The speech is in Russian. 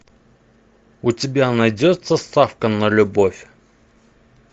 у тебя найдется ставка на любовь